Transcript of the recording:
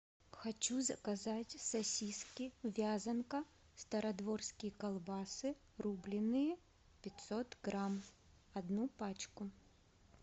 хочу заказать сосиски вязанка стародворские колбасы рубленные пятьсот грамм одну пачку